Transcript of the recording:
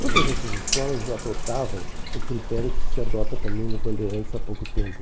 Todas essas escolas adotavam o critério que se adota também no Bandeirantes há pouco tempo.